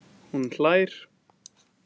Hún hlær.